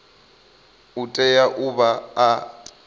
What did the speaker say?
u tea u vha a